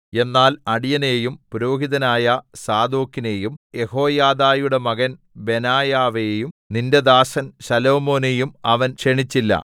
എന്നാൽ അടിയനെയും പുരോഹിതനായ സാദോക്കിനെയും യെഹോയാദയുടെ മകൻ ബെനായാവെയും നിന്റെ ദാസൻ ശലോമോനെയും അവൻ ക്ഷണിച്ചില്ല